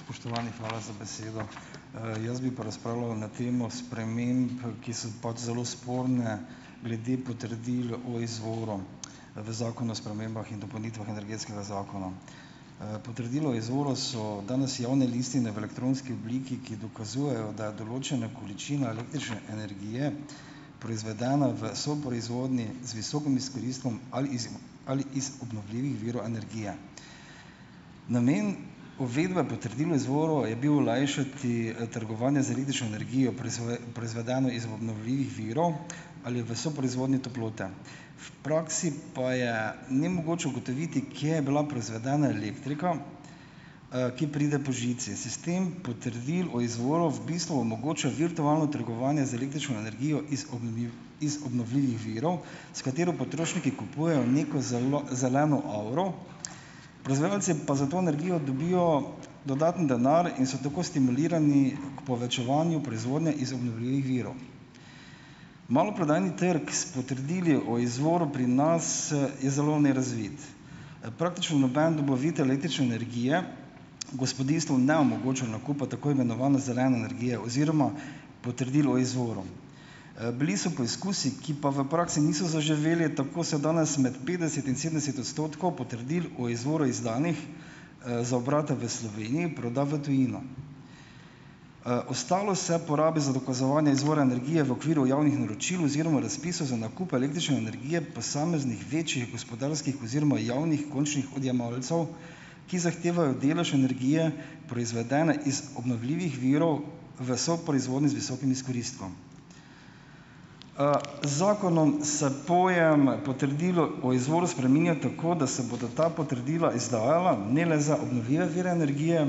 Spoštovani, hvala z besedo. Jaz bi pa razpravljal na temo sprememb, ki so pač zelo sporne, glede potrdil o izvoru v zakonu o spremembah in dopolnitvah energetskega zakona. Potrdilo o izvoru so danes javne listine v elektronski obliki, ki dokazujejo, da je določena količina električne energije proizvedena v soproizvodnji z visokim izkoristkom ali iz ali iz obnovljivih virov energije. Namen, uvedba potrdil o izvoru, je bil olajšati, trgovanje z električno energijo, proizvedeno iz obnovljivih virov, ali v soproizvodnji toplote. V praksi pa je nemogoče ugotoviti, kje je bila proizvedena elektrika, ki pride po žici. Sistem potrdil o izvoru v bistvu omogoča virtualno trgovanje z električno energijo iz iz obnovljivih virov, s katero potrošniki kupujejo neko zeleno avro, proizvajalci pa za to energijo dobijo dodaten denar in so tako stimulirani k povečevanju proizvodnje iz obnovljivih virov. Maloprodajni trg s potrdili o izvoru pri nas je zelo nerazvit. Praktično noben dobavitelj električne energije gospodinjstvom ne omogoča nakupa tako imenovane zelene energije oziroma potrdil o izvoru. Bili so poizkusi, ki pa v praksi niso zaživeli, tako se danes med petdeset in sedemdeset odstotkov potrdil o izvoru, izdanih, za obrate v Sloveniji, proda v tujino. Ostalo se porabi za dokazovanje izvora energije v okviru javnih naročil oziroma razpisov za nakup električne energije posameznih večjih gospodarskih oziroma javnih končnih odjemalcev, ki zahtevajo delež energije, proizvedene iz obnovljivih virov, v soproizvodnji z visokim izkoristkom. Z zakonom se pojem potrdilo o izvoru spreminja tako, da se bodo ta potrdila izdajala ne le za obnovljive vire energije,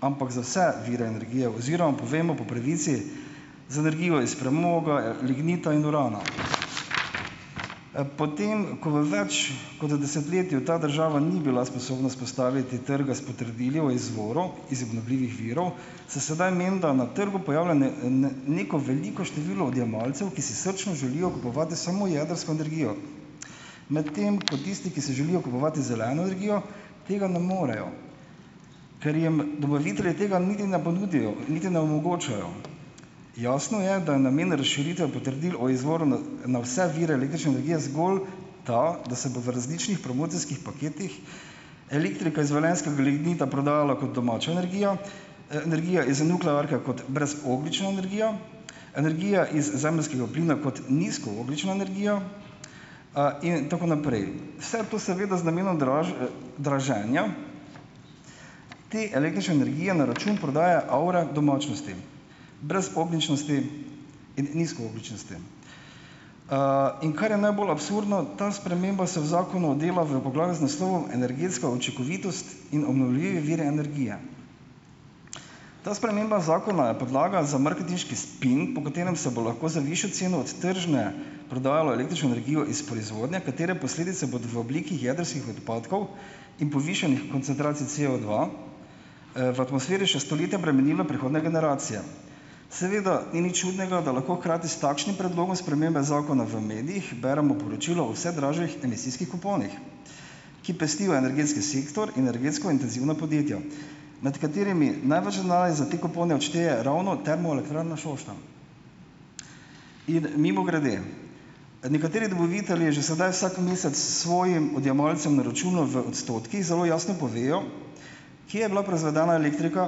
ampak za vse vire energije, oziroma povemo po pravici, za energijo iz premoga, lignita in urana. Potem ko v več kot desetletju ta država ni bila sposobna vzpostaviti trga s potrdili o izvoru iz obnovljivih virov, se sedaj menda na trgu pojavlja neko veliko število odjemalcev, ki si srčno želijo kupovati samo jedrsko energijo, medtem ko tisti, ki si želijo kupovati zeleno energijo, tega ne morejo, ker jim dobavitelji tega niti ne ponudijo niti ne omogočajo. Jasno je, da je namen razširitve potrdil o izvoru na vse vire električne energije zgolj tako, da se bo v različnih promocijskih paketih elektrika iz velenjskega lignita prodajala kot domača energija, energija iz nuklearke kot brezogljična energija, energija iz zemeljskega plina kot nizkoogljična energija, in tako naprej. Vse to seveda z namenom draženja te električne energije na račun prodaje avre domačnosti, brezogljičnosti in nizkoogljičnosti. In kar je najbolj absurdno, ta sprememba se v zakonu dela v poglavju z naslovom Energetska učinkovitost in obnovljivi viri energije. Ta sprememba zakona je podlaga za marketinški spin, po katerem se bo lahko za višjo ceno od tržne prodajalo električno energijo iz proizvodnje, katere posledice bodo v obliki jedrskih odpadkov in povišanih koncentracij COdva, v atmosferi še stoletja bremenilo prihodnje generacije. Seveda ni nič čudnega, da lahko hkrati s takšnim predlogom spremembe zakona v medijih beremo poročilo o vse dražjih emisijskih kuponih, ki pestijo energetski sektor in energetsko intenzivna podjetja, med katerimi največ denarja za te kupone odšteje ravno Termoelektrarna Šoštanj. In mimogrede, nekateri dobavitelji že sedaj vsak mesec svojim odjemalcem na računu v odstotkih zelo jasno povejo, kje je bila proizvedena elektrika,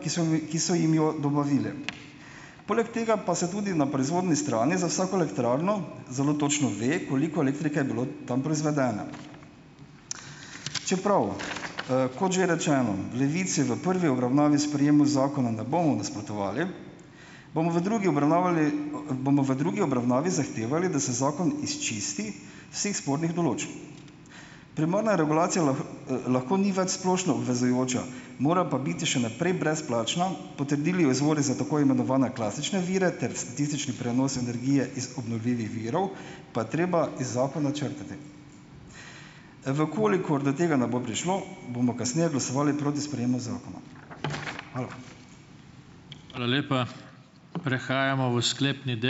ki so ki so jim jo dobavili. Poleg tega pa se tudi na proizvodni strani za vsako elektrarno zelo točno ve, koliko elektrike je bilo tam proizvedene. Čeprav, kot že rečeno, v Levici v prvi obravnavi sprejemu zakona ne bomo nasprotovali, bomo v drugi obravnavali, bomo v drugi obravnavi zahtevali, da se zakon izčisti vseh spornih določb. Primarna regulacija lahko ni več splošno obvezujoča, mora pa biti še naprej brezplačna, potrdila o izvorih za tako imenovane klasične vire ter statistični prenos energije iz obnovljivih virov pa je treba iz zakona črtati. V kolikor do tega ne bo prišlo, bomo kasneje glasovali proti sprejemu zakona. Hvala.